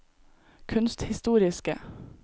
kunsthistoriske